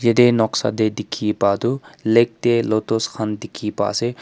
Te noksa tey dekhi pa toh lake tey lotus khan dekhi pa ase.